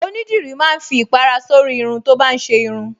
Onídìrí máa ń fi ìpàrà sórí irun tó bá ń ṣe irun